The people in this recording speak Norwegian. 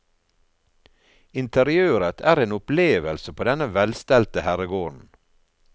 Interiøret er en opplevelse på denne velstelte herregården.